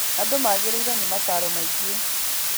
Andu magĩrĩirwo ni mataro maingĩ.